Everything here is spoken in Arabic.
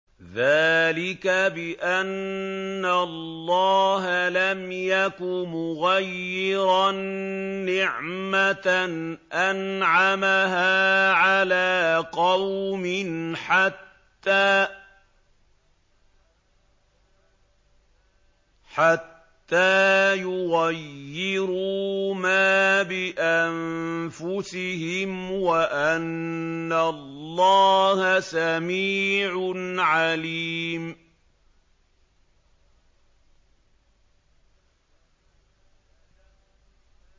ذَٰلِكَ بِأَنَّ اللَّهَ لَمْ يَكُ مُغَيِّرًا نِّعْمَةً أَنْعَمَهَا عَلَىٰ قَوْمٍ حَتَّىٰ يُغَيِّرُوا مَا بِأَنفُسِهِمْ ۙ وَأَنَّ اللَّهَ سَمِيعٌ عَلِيمٌ